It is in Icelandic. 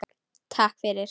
Takk fyrir